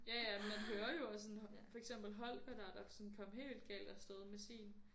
Ja ja man hører jo også sådan for eksempel Holger der der kom helt galt afsted med sin